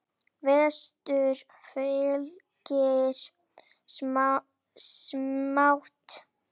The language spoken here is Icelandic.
Vestur fylgir smátt.